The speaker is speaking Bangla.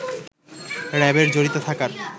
র‍্যাবের জড়িত থাকার